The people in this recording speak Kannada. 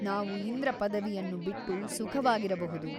ನಾವು ಇಂದ್ರ ಪದವಿಯನ್ನು ಬಿಟ್ಟು ಸುಖವಾಗಿರಬಹುದು.